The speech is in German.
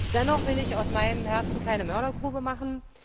Dennoch will ich aus meinem Herzen keine Mördergrube machen.